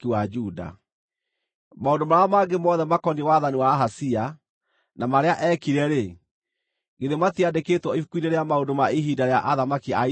Maũndũ marĩa mangĩ mothe makoniĩ wathani wa Ahazia, na marĩa eekire-rĩ, githĩ matiandĩkĩtwo ibuku-inĩ rĩa maũndũ ma ihinda rĩa athamaki a Isiraeli?